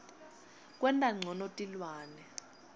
kwenta ncono tilwane